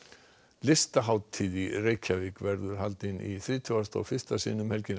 listahátíð í Reykjavík verður haldin í þrítugasta og fyrsta sinn um helgina